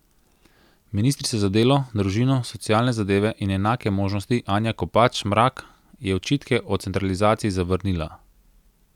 Ministrica za delo, družino, socialne zadeve in enake možnosti Anja Kopač Mrak je očitke o centralizaciji zavrnila.